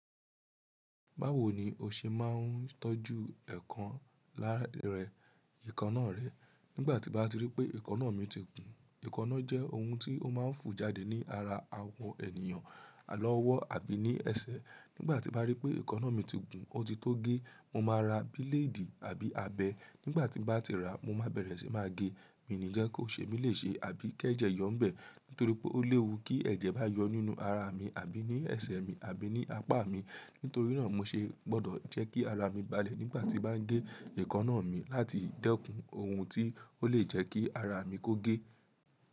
Báwo ni o ṣe máa ń tọ́jú ẹ̀káná rẹ? Nígbà tí n bá ti rí pé ekaná mi ti gùn, ekaná jẹ́ ohun tí ó máa ń fu jáde ní ara àwọ ènìyàn lọ́wọ́ àbí ní ẹsẹ̀. Nígbà tí n bá rí pé ekaná mi ti gùn, ó ti tó gé, mo máa ra bílédì àbí abẹ. Nígbà tí n bá ti ràá, mo máa bẹ̀rẹ̀ sí máa gé. Mi o ní jẹ́ kó ṣe mí lè ṣe àbí kẹ́jẹ̀ yọ́ń bẹ̀. Nítorí pé ó léwu tí ẹ̀jẹ̀ bá yọ nínú ara mi àbí ní ẹsẹ̀ mi, àbí ní apá mi. Nítorí náà mo ṣe gbọ́dọ̀ jẹ́ kí ara mi balẹ̀ nígbà tí bá ń gé ekaná mi láti dẹ́kun ohun tí ó lè jẹ́ kí ara mi kó gé.